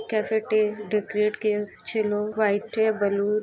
cafe টে দা ক্রেটকে ছিল হোয়াইট এ বালু--